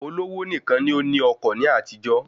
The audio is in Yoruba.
Olówó nìkan ni ó ní ọkọ̀ ní àtijó